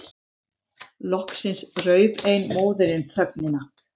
Loksins rauf ein móðirin þögnina.